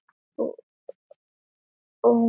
Og hún kemur.